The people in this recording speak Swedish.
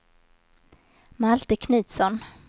Malte Knutsson